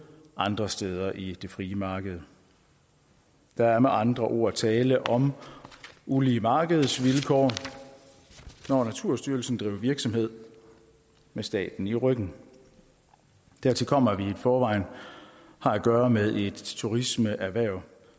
andre steder i det frie marked der er med andre ord tale om ulige markedsvilkår når naturstyrelsen driver virksomhed med staten i ryggen dertil kommer at vi i forvejen har at gøre med et turismeerhverv